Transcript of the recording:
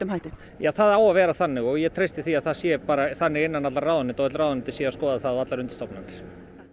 hætti já það á að vera þannig og ég treysti því að það sé þannig innan allra ráðuneyta öll ráðuneyti séu að skoða það og allar undirstofnanir